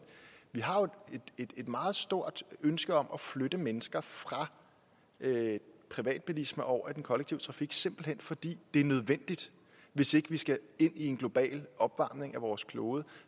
vi har jo et meget stort ønske om at flytte mennesker fra privatbilisme over i den kollektive trafik simpelt hen fordi det er nødvendigt hvis ikke vi skal ind i en global opvarmning af vores klode